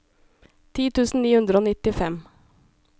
ti tusen ni hundre og nittifem